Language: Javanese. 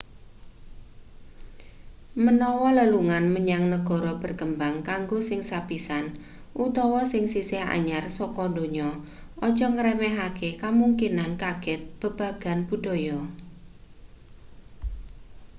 menawa lelungan menyang negara berkembang kanggo sing sepisan utawa ing sisih anyar saka donya aja ngremehake kemungkinan kaget babagan budhaya